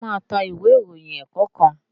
ṣe o má ta Ìwé ìròyìn ẹ̀ẹ̀kọ̀kan?